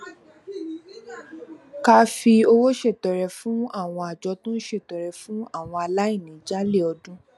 ká fi owó ṣètọrẹ fún àwọn àjọ tó ń ṣètọrẹ fún àwọn aláìní jálè ọdún